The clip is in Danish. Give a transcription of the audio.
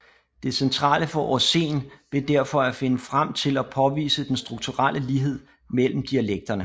Det centrale for Aasen blev derfor at finde frem til og påvise den strukturelle lighed mellem dialekterne